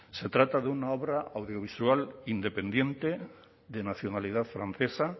se trata de una obra audiovisual independiente de nacionalidad francesa